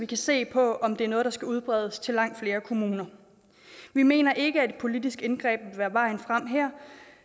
kan se på om det er noget der skal udbredes til langt flere kommuner vi mener ikke at et politisk indgreb vil være vejen frem her